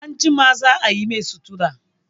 Anjima za a yi mai sutura.